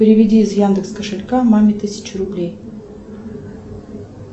переведи из яндекс кошелька маме тысячу рублей